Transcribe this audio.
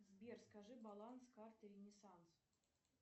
сбер скажи баланс карты ренесанс